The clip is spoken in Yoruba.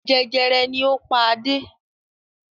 Jẹjẹrẹ ni ó pa Adé.